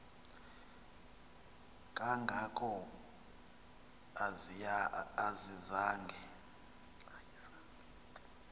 kanga ko ayizange